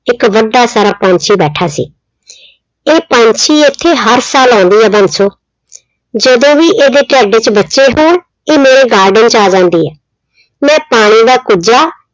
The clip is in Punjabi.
ਇੱਕ ਵੱਡਾ ਸਾਰਾ ਪੰਛੀ ਬੈਠਾ ਸੀ। ਇਹ ਪੰਛੀ ਇੱਥੇ ਹਰ ਸਾਲ ਆਉਂਦੇ ਆ ਬੰਸੋ, ਜਦੋਂ ਵੀ ਇਹਦੇ ਢਿੱਡ ਚ ਬੱਚੇ ਹੋਣ ਇਹ ਮੇਰੇ garden ਚ ਆ ਜਾਂਦੀ ਏ, ਮੈਂ ਪਾਣੀ ਦਾ ਕੁੱਜਾ